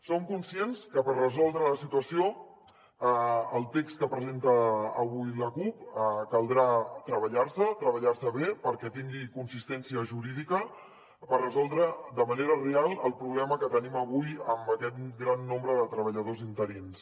som conscients que per resoldre la situació el text que presenta avui la cup caldrà treballar se treballar se bé perquè tingui consistència jurídica per resoldre de manera real el problema que tenim avui amb aquest gran nombre de treballadors interins